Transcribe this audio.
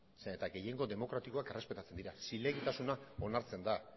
zeren eta gehiengo demokratikoak errespetatzen dira zilegitasuna onartzen da